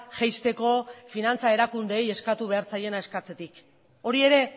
jaisteko finantza erakundeei eskatu behar zaiena eskatzetik hori ere